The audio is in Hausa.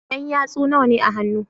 Yan yatsu nawane a hannu